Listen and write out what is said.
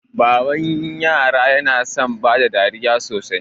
Baba yana son bada dariya sosai.